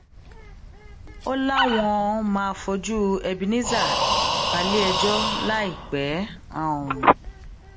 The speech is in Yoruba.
ó láwọn máa fojú ebenezer balẹẹjọ láìpẹ um